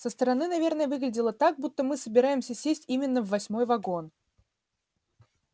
со стороны наверное выглядело так будто мы собираемся сесть именно в восьмой вагон